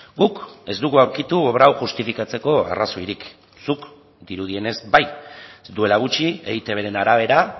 guk ez dugu aurkitu obra hau justifikatzeko arrazoirik zuk dirudienez bai duela gutxi eitbren arabera